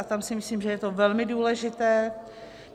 A tam si myslím, že je to velmi důležité.